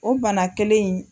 O bana kelen in